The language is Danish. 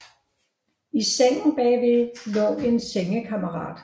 I sengen bagved lå en sengekammerat